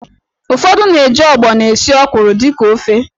Ufọdụ na-eji ọgbọnọ esi ọ́kwụ̀rụ̀ dịka ofe.